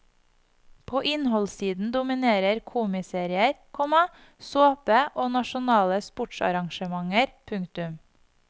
På innholdssiden dominerer komiserier, komma såpe og nasjonale sportsarrangementer. punktum